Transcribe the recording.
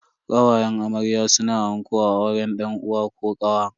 Kawayen amarya suna anko a auren dan uwa ko kawa.